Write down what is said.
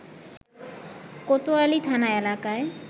কোতোয়ালি থানা এলাকায়